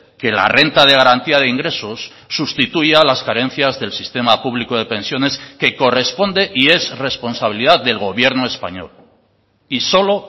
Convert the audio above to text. que la renta de garantía de ingresos sustituya las carencias del sistema público de pensiones que corresponde y es responsabilidad del gobierno español y solo